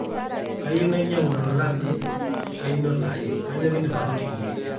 kayieu nainyagu lolan le einoto aai, kainyoo kidim atoliki